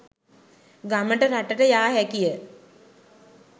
ගමට රටට යා හැකිය.